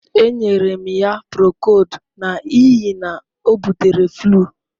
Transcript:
Enyere m ya Procold n'ihi na o butere flu.